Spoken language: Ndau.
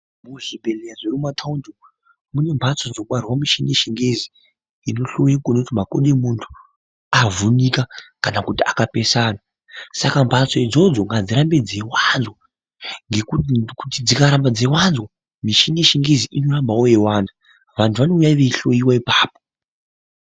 Muzvimbatso dzemumataundi umu mune mbatso dzinotorwa mitombo yechingezi Inohloya kuona kuti makodo emuntu avhunika kana kuti akapesana saka ngadzirambe dzeiwanzwa ngekuti dzikaramba dzeiwanzwa mishini yechingezi inorambawo yeiwanda vantu vanohloiwa ipapo.